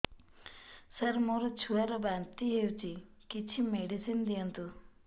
ସାର ମୋର ଛୁଆ ର ବାନ୍ତି ହଉଚି କିଛି ମେଡିସିନ ଦିଅନ୍ତୁ